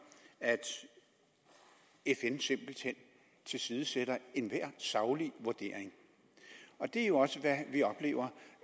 at fn simpelt hen tilsidesætter enhver saglig vurdering og det er jo også det vi oplever